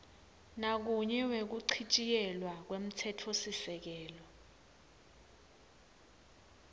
nakunye wekuchitjiyelwa kwemtsetfosisekelo